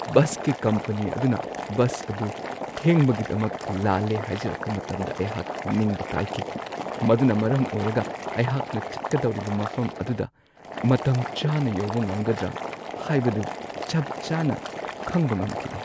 ꯕꯁꯀꯤ ꯀꯝꯄꯅꯤ ꯑꯗꯨꯅ ꯕꯁ ꯑꯗꯨ ꯊꯦꯡꯕꯒꯤꯗꯃꯛ ꯂꯥꯜꯂꯦ ꯍꯥꯏꯖꯔꯛꯄ ꯃꯇꯝꯗ ꯑꯩꯍꯥꯛ ꯅꯤꯡꯕ ꯀꯥꯏꯈꯤ, ꯃꯗꯨꯅ ꯃꯔꯝ ꯑꯣꯏꯔꯒ ꯑꯩꯍꯥꯛꯅ ꯆꯠꯀꯗꯧꯔꯤꯕ ꯃꯐꯝ ꯑꯗꯨꯗ ꯃꯇꯝ ꯆꯥꯅ ꯌꯧꯕ ꯉꯝꯒꯗ꯭ꯔꯥ ꯍꯥꯏꯕꯗꯨ ꯆꯞ ꯆꯥꯅ ꯈꯪꯕ ꯉꯝꯈꯤꯗꯦ ꯫